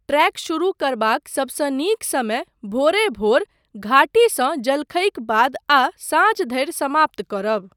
Trek शुरू करबाक सबसँ नीक समय भोरे भोर, घाटीसँ जलखईक बाद आ साँझ धरि समाप्त करब।